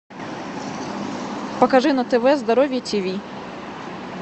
покажи на тв здоровье тиви